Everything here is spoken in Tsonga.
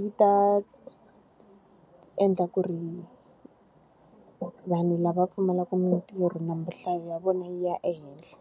yi ta endla ku ri vanhu lava pfumalaka mintirho nhlayo ya vona yi ya ehenhla.